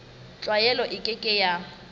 tlwaelo e ke ke ya